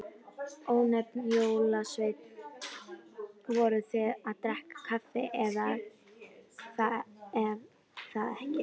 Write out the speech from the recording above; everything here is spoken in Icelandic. Ónefndur jólasveinn: Voruð þið að drekka kaffi, er það ekki?